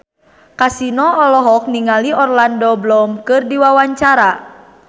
Kasino olohok ningali Orlando Bloom keur diwawancara